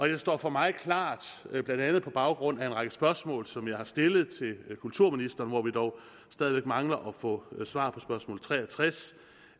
det står for mig klart blandt andet på baggrund af en række spørgsmål som jeg har stillet til kulturministeren hvor vi dog stadig mangler at få svar på spørgsmål tre og tres